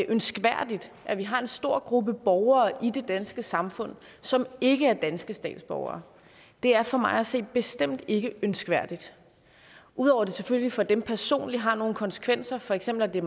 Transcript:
ønskværdigt at vi har en stor gruppe borgere i det danske samfund som ikke er danske statsborgere det er for mig at se bestemt ikke ønskværdigt udover at det selvfølgelig for dem personligt har nogle konsekvenser for eksempel at det